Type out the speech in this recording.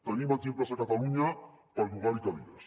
tenim exemples a catalunya per llogar hi cadires